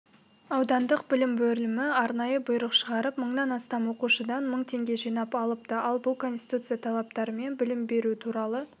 аудандық білім бөлімі арнайы бұйрық шығарып мыңнан астам оқушыдан мың теңге жинап алыпты ал бұл конституция талаптары мен білім беру туралы